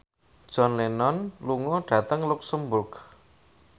John Lennon lunga dhateng luxemburg